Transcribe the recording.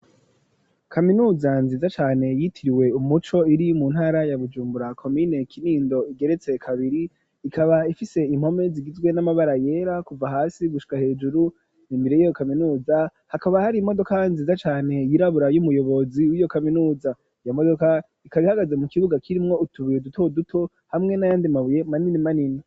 Kaminuza nziza cane yitiriwe umuco iri mu ntara ya Bujumbura komine Kinindo igeretse kabiri ikaba ifise impome zigizwe n'amabara yera kuva hasi gushika hejuru imbere yiyo kaminuza hakaba hari imodoka nziza cane yirabura y'umuyobozi wiyo kaminuza iyo modoka ikaba ihagaze mu kibuga kirimwo utubuye duto duto hamwe n'ayandi mabuye manini manini.